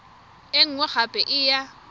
e nngwe gape e ya